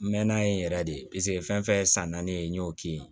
N mɛɛnna yen yɛrɛ de paseke fɛn fɛn ye san naani ye n y'o k'i ye